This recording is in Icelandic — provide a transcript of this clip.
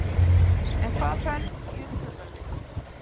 En hvað felst í umburðarlyndi?